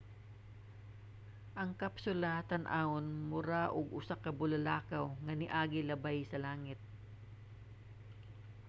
ang kapsula tan-awon mura og usa ka bulalakaw nga niagi labay sa langit